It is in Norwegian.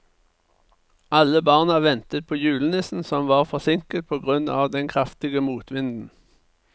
Alle barna ventet på julenissen, som var forsinket på grunn av den kraftige motvinden.